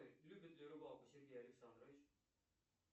любит ли рыбалку сергей александрович